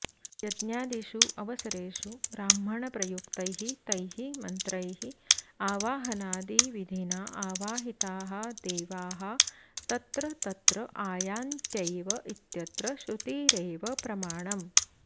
यज्ञादिषु अवसरेषु ब्राह्मणप्रयुक्तैः तैः मन्त्रैः आवाहनादिविधिना अावाहिताः देवाः तत्र तत्र अायान्त्यैव इत्यत्र श्रुतिरेव प्रमाणम्